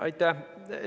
Aitäh!